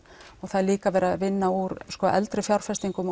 og það er líka verið að vinna úr eldri fjárfestingum